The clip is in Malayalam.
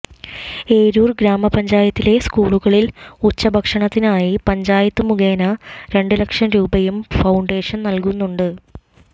ഏരൂർ ഗ്രാമപ്പഞ്ചായത്തിലെ സ്കൂളുകളിൽ ഉച്ചഭക്ഷണത്തിനായി പഞ്ചായത്ത് മുഖേന രണ്ടുലക്ഷം രൂപയും ഫൌണ്ടേഷൻ നൽകുന്നുണ്ട്